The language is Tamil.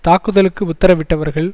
தாக்குதலுக்கு உத்தரவிட்டவர்கள்